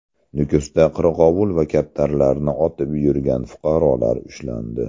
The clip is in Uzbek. Nukusda qirg‘ovul va kaptarlarni otib yurgan fuqarolar ushlandi.